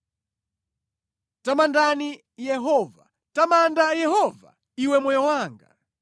Tamandani Yehova. Tamanda Yehova, iwe moyo wanga.